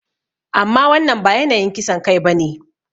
Amma wannan ba yanayin kisan kai ba ne.